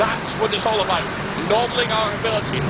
It is all about nobbling our ability.